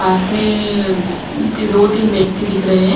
पास में ती-दो तीन व्यक्ति दिख रहे हैं।